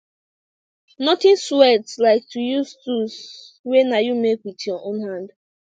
nothing sweat like to use tools wey na you make wit yur own hand